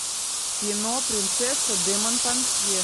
кино принцесса де монпансье